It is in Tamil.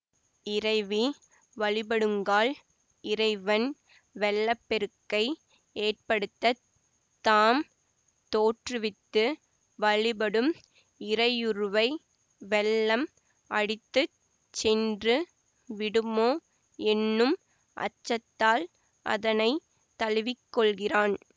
இறைவி வழிபடுங்கால் இறைவன் வெள்ளப்பெருக்கை ஏற்படுத்தத் தாம் தோற்றுவித்து வழிபடும் இறையுருவை வெள்ளம் அடித்து சென்று விடுமோ என்னும் அச்சத்தால் அதனை தழுவிக்கொள்கிறான்